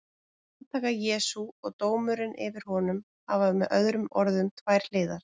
Handtaka Jesú og dómurinn yfir honum hafa með öðrum orðum tvær hliðar.